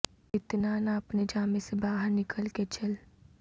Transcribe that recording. اتنا نا اپنے جامے سے باہر نکل کے چل